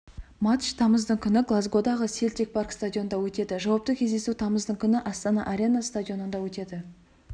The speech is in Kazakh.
матч тамыздың күні глазгодағы селтик парк стадионында өтеді жауапты кездесу тамыздың күні астана арена стадионында өтеді